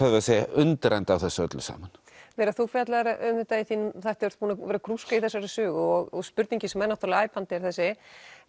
undrandi á þessu öllu saman Vera þú fjallaðir um þetta í þínum þætti og ert búin að vera að grúska í þessari sögu og spurningin sem er æpandi er þessi